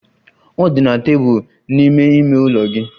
Ọ dị na tebụl n'ime ime ụlọ gị.